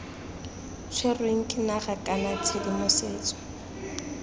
tshwerweng ke naga kana tshedimosetso